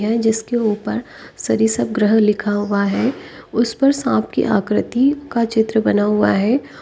यह जिसके ऊपर सरीसप ग्रह के लिखा हुआ है उस पर सांप की आकृति का चित्र बना हुआ है।